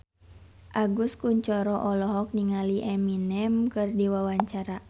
Agus Kuncoro olohok ningali Eminem keur diwawancara